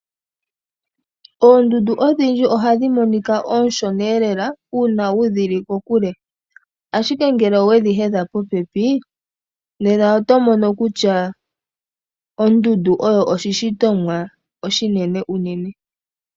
Oondundu odhindji ohadhi monika oonshona lela uuna wudhili kokule. Ashike ngele owedhi hedha po pepi nena oto mono kutya oondundu oyo oshi shitomwa oshinene unene.